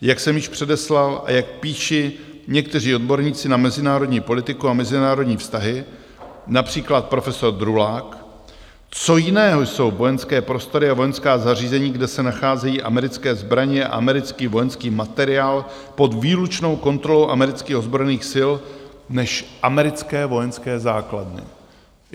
Jak jsem již předeslal a jak píší někteří odborníci na mezinárodní politiku a mezinárodní vztahy, například profesor Drulák: Co jiného jsou vojenské prostory a vojenská zařízení, kde se nacházejí americké zbraně a americký vojenský materiál pod výlučnou kontrolou amerických ozbrojených sil, než americké vojenské základny?